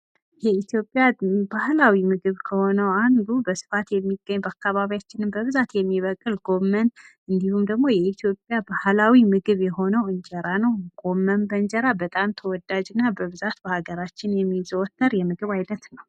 የኢትዮጵያ ባህላዊ ምግብ ከሆነው አንዱ በስፋት የሚገኝ በአካባቢያችን በብዛት የሚበቅል ጎመን እንዲሁም ደግሞ የኢትዮጵያ ባህላዊ ምግብ የሆነው እንጀራ ነው። ጎመን በእንጀራ በጣም ተወዳጅ እና በብዛት በሀገራችን የሚዞተር የምግብ አይነት ነው።